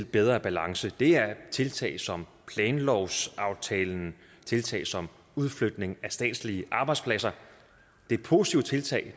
bedre balance det er tiltag som planlovsaftalen og tiltag som udflytningen af statslige arbejdspladser det er positive tiltag